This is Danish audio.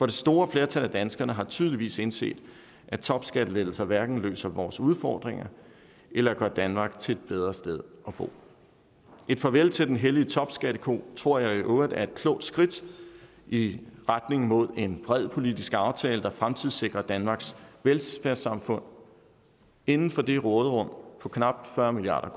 det store flertal af danskerne har tydeligvis indset at topskattelettelser hverken løser vores udfordringer eller gør danmark til et bedre sted at bo et farvel til den hellige topskatteko tror jeg i øvrigt er et klogt skridt i retning mod en bred politisk aftale der fremtidssikrer danmarks velfærdssamfund inden for det råderum på knap fyrre milliard